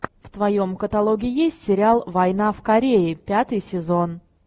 в твоем каталоге есть сериал война в корее пятый сезон